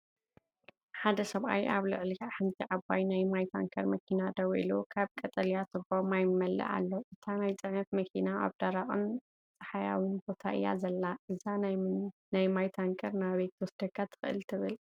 ሓደ ሰብኣይ ኣብ ልዕሊ ሓንቲ ዓባይ ናይ ማይ ታንከር መኪና ደው ኢሉ ካብ ቀጠልያ ቱቦ ማይ ይመልኣ ኣሎ። እታ ናይ ጽዕነት መኪና ኣብ ደረቕን ጸሓያዊን ቦታ እያ ዘላ። እዛ ናይ ማይ ታንከር ናበይ ክትወስደካ ትኽእል ትብል?